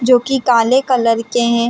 जो की काले कलर के है।